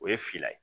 O ye finna ye